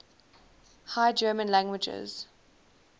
high german languages